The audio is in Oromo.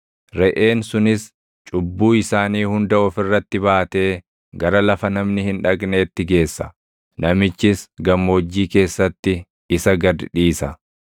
Reʼeen sunis cubbuu isaanii hunda of irratti baatee gara lafa namni hin dhaqneetti geessa; namichis gammoojjii keessatti isa gad dhiisa.